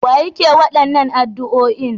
Wa yake waɗannan addu'oin?